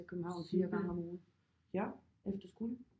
Cirka ja efter skole